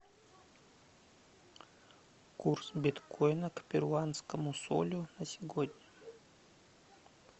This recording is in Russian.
курс биткоина к перуанскому солю на сегодня